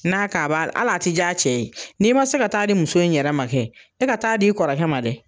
N'a k'a b'a hal'a tɛ diya a cɛ ye n'i ma se ka taa di muso in yɛrɛ ma kɛ, e ka taa d'i kɔrɔkɛ ma dɛ.